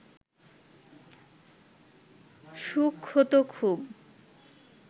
সুখ হত খুব